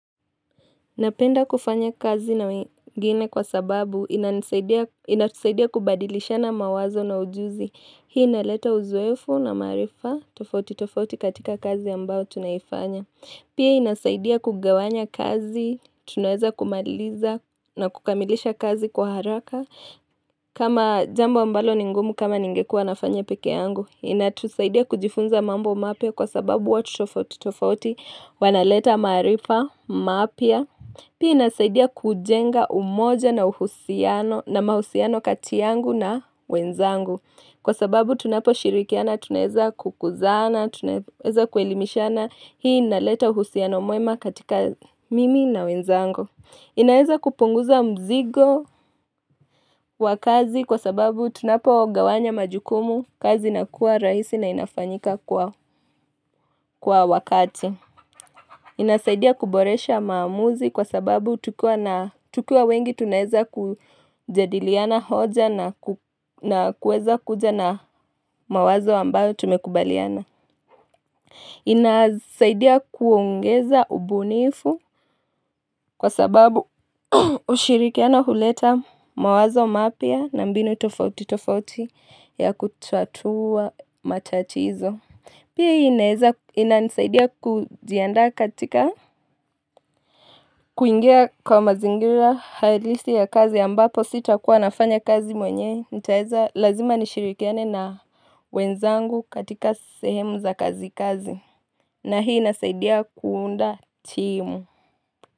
Napenda kufanya kazi na wengine kwa sababu inatusaidia kubadilishana mawazo na ujuzi. Hii inaleta uzoefu na maarifa tofauti tofauti katika kazi ambao tunaifanya. Pia inasaidia kugawanya kazi, tunaweza kumaliza na kukamilisha kazi kwa haraka. Kama jambo mbalo ni ngumu kama ningekuwa nafanya peke yangu. Inatusaidia kujifunza mambo mapya kwa sababu watu tofauti tofauti wanaleta maarifa mapya. Pii inasaidia kujenga umoja na mahusiano katiyangu na wenzangu. Kwa sababu tunapo shirikiana, tunaweza kukuzana, tunaweza kuelimishana hii inaleta uhusiano mwema katika mimi na wenzangu. Inaeza kupunguza mzigo wa kazi kwa sababu tunapo gawanya majukumu kazi inakuwa rahisi na inafanyika kwa wakati. Inasaidia kuboresha maamuzi kwa sababu tukiwa na tukiwa wengi tunaweza kujadiliana hoja na kuweza kuja na mawazo ambayo tumekubaliana inasaidia kuongeza ubunifu kwa sababu ushirikiano huleta mawazo mapya na mbinu tofauti tofauti ya kutatua matatizo Pia hii inanisaidia kujiandaa katika kuingia kwa mazingira hailisi ya kazi ya ambapo sitakuwa nafanya kazi mwenyewe nitaweza lazima nishirikiane na wenzangu katika sehemu za kazi kazi na hii inasaidia kuunda timu.